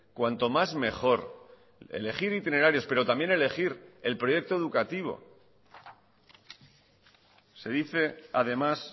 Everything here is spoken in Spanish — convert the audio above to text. cuanto más mejor elegir itinerarios pero también elegir el proyecto educativo se dice además